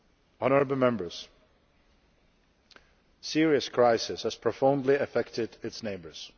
Honourable Members, Syria's crisis has profoundly affected its neighbours.